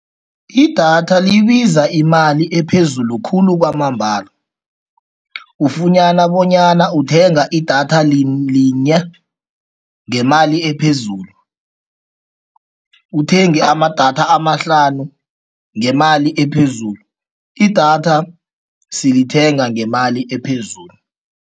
Idatha libiza imali ephezulu khulu kwamambala. ufunyana bonyana uthenga idatha linye ngemali phezulu, uthenge amadatha amahlanu ngemali ephezulu. Idatha silithenga ngemali ephezulu.